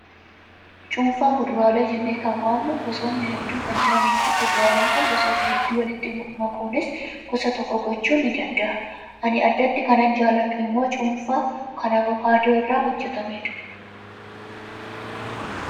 Cuunfaa fuduraalee jenneekan waamnu gosoonni hedduun kan jiranii fi fuduraalee jiran gosoota hedduu walitti makuunis gosa tokko gochuun ni danda'ama. Ani addatti kanan jaalladhu immoo cuunfaa kan avokaadoo irraa hojjatamedha.